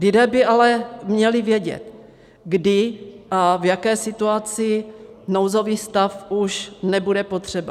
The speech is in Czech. Lidé by ale měli vědět, kdy a v jaké situaci nouzový stav už nebude potřeba.